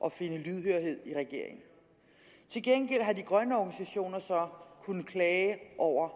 at finde lydhørhed i regeringen til gengæld har de grønne organisationer så kunnet klage over